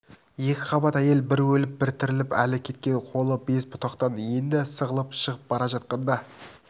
екіқабат әйел бір өліп бір тіріліп әлі кеткен қолы без бұтақтан енді сығылып шығып бара жатқанда